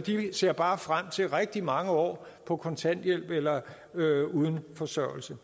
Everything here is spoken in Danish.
de ser bare frem til rigtig mange år på kontanthjælp eller uden forsørgelse